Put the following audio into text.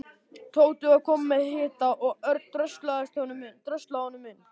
Tóti var kominn með hita og Örn dröslaði honum inn.